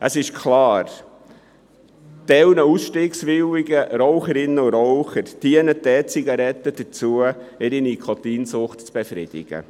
Für Teile der ausstiegswilligen Raucherinnen und Raucher dient die E-Zigarette dazu, die Nikotinsucht zu befriedigen.